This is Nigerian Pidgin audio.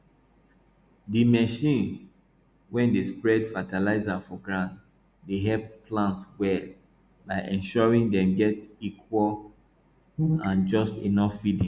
the machine wey dey spread fertilizer for ground dey help plant well by ensuring dem get equal and just enough feeding